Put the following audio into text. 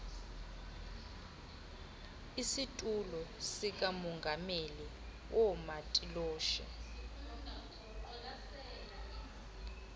isitulo sikamongameli woomatiloshe